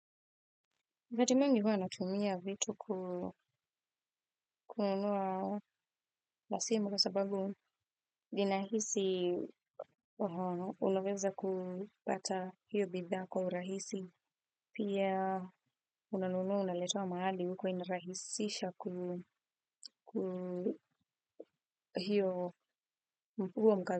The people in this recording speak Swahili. Wakati mwingi huwa natumia vitu kununua la simu kwa sababu vinahisi unaweza kupata hiyo bidha kwa urahisi pia unanunua unaletewa mahali uko inarahisisha ku hiyo, huo.